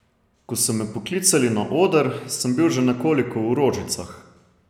Ko so me poklicali na oder, sem bil že nekoliko v rožicah.